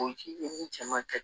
cɛ man kɛ